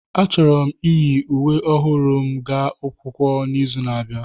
Achọrọ m iyi uwe ọhụrụ m gaa akwụkwọ n'izu na-abịa.